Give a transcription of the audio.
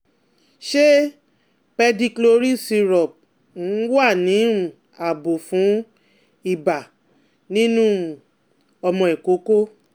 Ṣé pedicloryl syrup um wà ní um ààbò fún ibà nínú um ọmọ ìkókó?